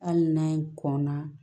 Hali n'a kɔn na